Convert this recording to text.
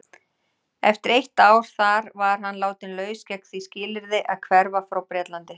Eftir eitt ár þar var hann látinn laus gegn því skilyrði að hverfa frá Bretlandi.